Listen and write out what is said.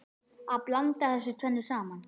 Að blanda þessu tvennu saman.